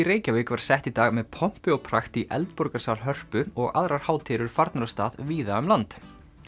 Reykjavík var sett í dag með pomp og prakt í Hörpu og aðrar hátíðir eru farnar af stað víða um land